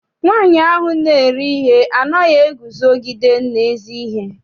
Nwaanyi ahụ na-ere ihe anaghị eguzogide n'ezi ihe.